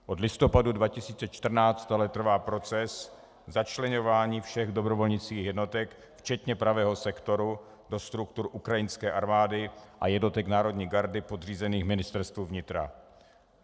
Od listopadu 2014 ale trvá proces začleňování všech dobrovolnických jednotek včetně Pravého sektoru do struktur ukrajinské armády a jednotek národní gardy podřízených Ministerstvu vnitra.